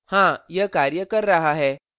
हाँ यह कार्य कर रहा है